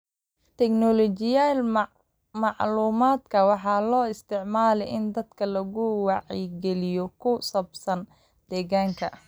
Teknolojiyadda macluumaadka waxaa loo isticmaalaa in dadka lagu wacyigeliyo ku saabsan deegaanka.